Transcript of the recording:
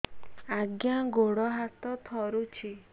ଆଜ୍ଞା ଗୋଡ଼ ହାତ ଥରୁଛି